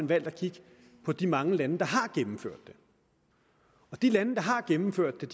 valgt at kigge på de mange lande der har gennemført det og de lande der har gennemført det